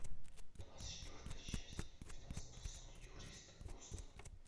двадцать четвертая часть двенадцатого сезона юристы бостона